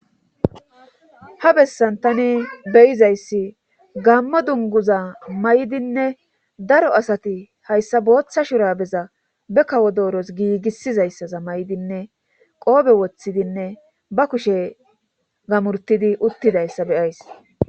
ha bessan tani beyizayssi gammo dunguza may7dinne daro asati hayssa booththa shurabeza be kawo dooros giigissizayssaza may7dinne qoobe woththidinne ba kushe gamurtidi uttidayssa beyays